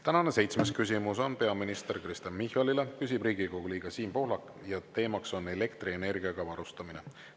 Tänane seitsmes küsimus on peaminister Kristen Michalile, küsib Riigikogu liige Siim Pohlak ja teema on elektrienergiaga varustamine.